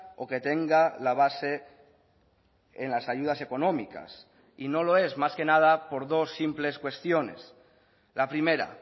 o que tenga la base en las ayudas económicas y no lo es más que nada por dos simples cuestiones la primera